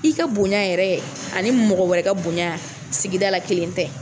I ka bonya yɛrɛ ani mɔgɔ wɛrɛ ka bonya sigida la kelen tɛ.